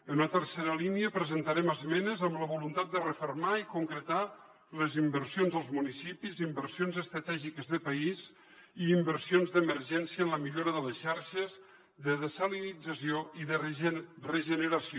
en una tercera línia presentarem esmenes amb la voluntat de refermar i concretar les inversions als municipis i inversions estratègiques de país i inversions d’emergència en la millora de les xarxes de dessalinització i de regeneració